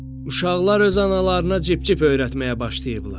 Uşaqlar öz analarına cib-cip öyrətməyə başlayıblar.